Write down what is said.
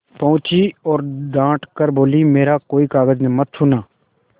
पहुँची और डॉँट कर बोलीमेरा कोई कागज मत छूना